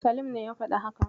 Salim ne ya faɗi haka.